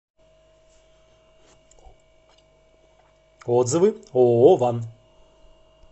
отзывы ооо ван